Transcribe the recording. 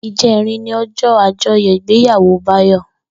Ijèrín ni òjò ájòyò igbéyàwó Bayo